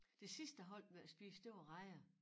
Det sidste jeg holdt med at spise det var rejer